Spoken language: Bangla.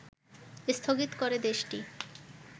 স্থগিত করে দেশটি